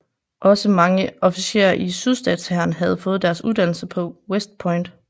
Også mange officerer i sydstatshæren havde fået deres uddannelse på West Point